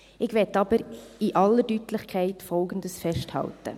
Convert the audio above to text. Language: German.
Ich will aber in aller Deutlichkeit Folgendes festhalten: